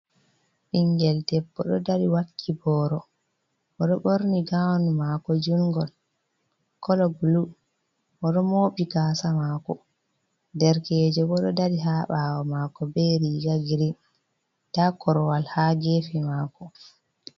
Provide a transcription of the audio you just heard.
Ɓingel deɓbo ɗo dari wakki boro, bo ɗo ɓorni gown mako jungol kolo blue. Oɗo mobi gasa mako derkejo bo ɗo dari ha ɓawo mako be riga green nda korwal ha gefe mako.